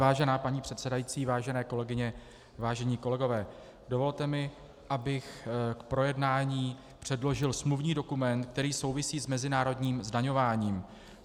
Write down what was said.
Vážená paní předsedající, vážené kolegyně, vážení kolegové, dovolte mi, abych k projednání předložil smluvní dokument, který souvisí s mezinárodním zdaňováním.